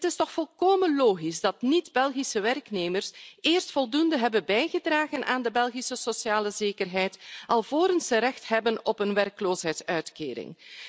Het is toch volkomen logisch dat niet-Belgische werknemers eerst voldoende hebben bijgedragen aan de Belgische sociale zekerheid vooraleer ze recht hebben op een werkloosheidsuitkering.